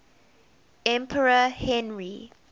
emperor henry